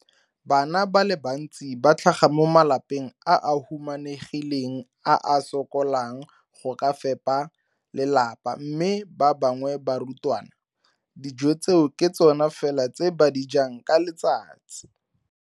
Bana ba le bantsi ba tlhaga mo malapeng a a humanegileng a a sokolang go ka fepa ba lelapa mme ba bangwe ba barutwana, dijo tseo ke tsona fela tse ba di jang ka letsatsi.